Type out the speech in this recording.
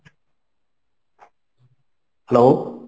Hello.